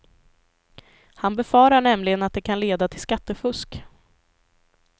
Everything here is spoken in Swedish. Han befarar nämligen att det kan leda till skattefusk.